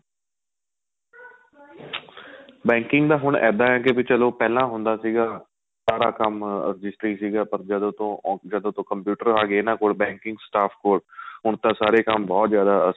banking ਦਾ ਹੁਣ ਏਹਦਾ ਹੈ ਕੇ ਵੀ ਚਲੋਂ ਪਹਿਲਾਂ ਹੁੰਦਾ ਸੀਗਾ ਸਾਰਾ ਕੰਮ ਰਜਿਸਟਰੀ ਸੀਗਾ ਪਰ ਜਦੋਂ ਤੋ computer ਆਂਗੇ ਇਹਨਾ ਕੋਲ banking staff ਕੋਲ ਹੁਣ ਤਾਂ ਸਾਰੇ ਕੰਮ ਬਹੁਤ ਜਿਆਦਾ